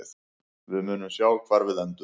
Við munum sjá hvar við endum.